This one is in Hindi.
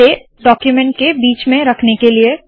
इसे डाक्यूमेन्ट के बीच में रखने के लिए